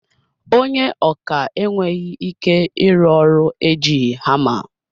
Ònye ọkà enweghị ike ịrụ ọrụ ejighi hama.